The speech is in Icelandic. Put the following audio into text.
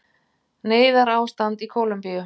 Neyðarástand í Kólumbíu